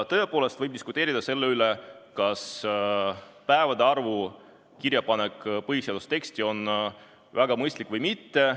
Tõepoolest võib diskuteerida selle üle, kas päevade arvu kirjapanek põhiseaduse teksti on väga mõistlik või mitte.